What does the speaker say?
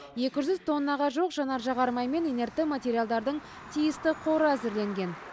екі жүз тоннаға жуық жанар жағармай мен инертті материалдардың тиісті қоры әзірленген